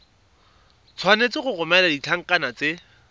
tshwanetse go romela ditlankana tse